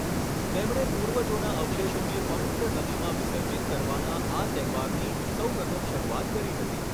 તેમણે પૂર્વજોના અવશેષોને પવિત્ર નદીમાં વિસર્જિત કરવાના આ તહેવારની સૌપ્રથમ શરૂઆત કરી હતી.